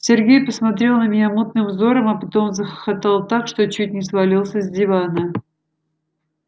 сергей посмотрел на меня мутным взором а потом захохотал так что чуть не свалился с дивана